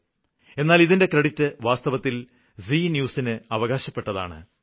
എന്നാല് ഇതിന്റെ ക്രെഡിറ്റ് വാസ്തവത്തില് ജി ന്യൂസ് ന് അവകാശപ്പെട്ടതാണ്